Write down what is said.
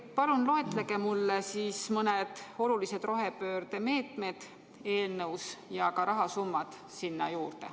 Palun loetlege mulle sellest eelnõust mõned olulised rohepöördemeetmed ja ka rahasummad sinna juurde.